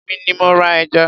èmi ni mo ra ẹja.